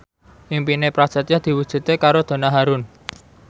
impine Prasetyo diwujudke karo Donna Harun